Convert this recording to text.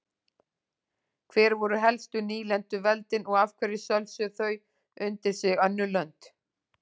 Hver voru helstu nýlenduveldin og af hverju sölsuðu þau undir sig önnur lönd?